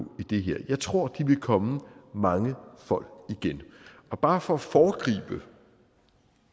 i det her jeg tror at de vil komme mangefold igen bare for at foregribe